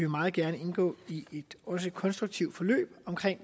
meget gerne indgå i et konstruktivt forløb